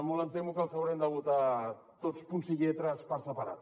molt em temo que els haurem de votar tots punts i lletres per separat